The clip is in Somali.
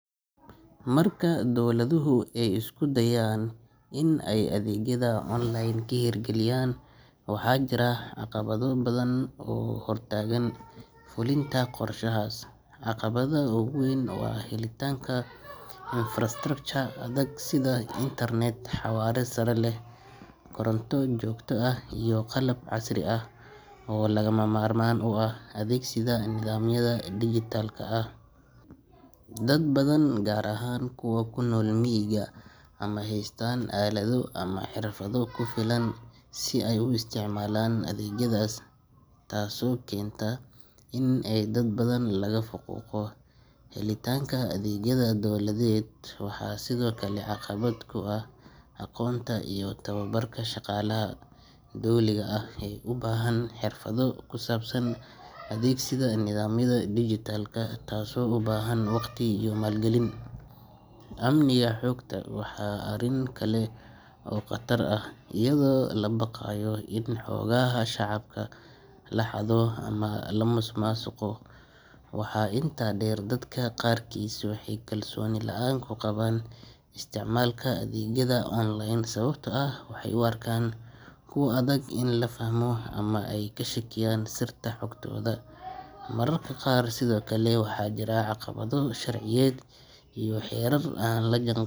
Marka dowladuhu ay isku dayaan in ay adeegyada online ka hirgeliyaan, waxaa jira caqabado badan oo hortaagan fulinta qorshahaas. Caqabada ugu weyn waa helitaanka infrastructure adag sida internet xawaare sare leh, koronto joogto ah, iyo qalab casri ah oo lagama maarmaan u ah adeegsiga nidaamyada dhijitaalka ah. Dad badan gaar ahaan kuwa ku nool miyiga ma haystaan aalado ama xirfado ku filan si ay u isticmaalaan adeegyadaas, taasoo keenta in dad badan laga faquuqo helitaanka adeegyada dowladeed. Waxaa sidoo kale caqabad ku ah aqoonta iyo tababarka shaqaalaha dowliga ah ee u baahan xirfado ku saabsan adeegsiga nidaamyada digital, taasoo u baahan waqti iyo maalgelin. Amniga xogta waa arrin kale oo khatar ah, iyadoo la baqayo in xogaha shacabka la xado ama la musuqmaasuqo. Waxaa intaa dheer, dadka qaarkiis waxay kalsooni la’aan ku qabaan isticmaalka adeegyada online sababtoo ah waxay u arkaan kuwo adag in la fahmo ama ay ka shakiyaan sirta xogtooda. Mararka qaar sidoo kale waxaa jira caqabado sharciyeed iyo xeerar aan la jaan.